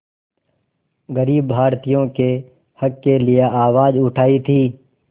ग़रीब भारतीयों के हक़ के लिए आवाज़ उठाई थी